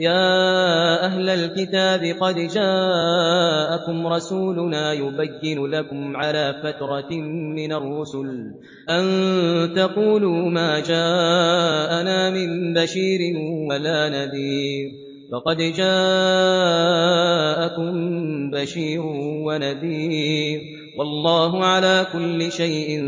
يَا أَهْلَ الْكِتَابِ قَدْ جَاءَكُمْ رَسُولُنَا يُبَيِّنُ لَكُمْ عَلَىٰ فَتْرَةٍ مِّنَ الرُّسُلِ أَن تَقُولُوا مَا جَاءَنَا مِن بَشِيرٍ وَلَا نَذِيرٍ ۖ فَقَدْ جَاءَكُم بَشِيرٌ وَنَذِيرٌ ۗ وَاللَّهُ عَلَىٰ كُلِّ شَيْءٍ